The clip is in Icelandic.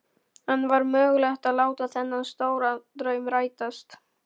En var mögulegt að láta þennan stóra draum rætast?